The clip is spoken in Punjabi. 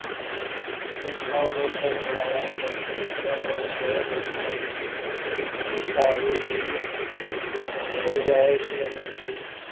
ਮਿੱਠਾ ਬੋਲਣ ਵਾਲਾ ਮਨੁੱਖ ਦੂਜਿਆਂ ਨੂੰ ਮੋਹ ਲੈਂਦਾ ਹੈ। ਉਸ ਵਿੱਚ ਦਿਖਾਵੇ ਦੀ ਗੁੰਜਾਇਸ਼ ਨਹੀਂ ਹੁੰਦੀ।